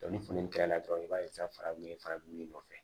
ni funtɛni kɛra dɔrɔn i b'a ye sisan fara min ye fara dun nɔfɛ